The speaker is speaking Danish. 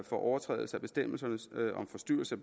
for overtrædelse af bestemmelser om forstyrrelse